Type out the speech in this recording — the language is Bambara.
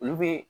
Olu be